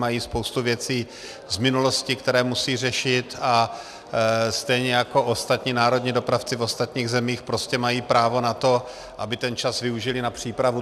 Mají spoustu věcí z minulosti, které musí řešit, a stejně jako ostatní národní dopravci v ostatních zemích prostě mají právo na to, aby ten čas využily na přípravu.